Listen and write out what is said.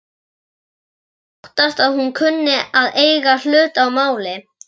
Ég óttast að hún kunni að eiga hlut að máli.